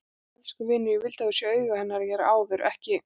En elsku vinur, ég vildi að þú hefðir séð augu hennar hér áður, ekki